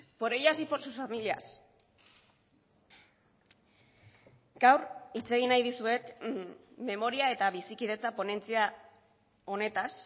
por ellas y por sus familias gaur hitz egin nahi dizuet memoria eta bizikidetza ponentzia honetaz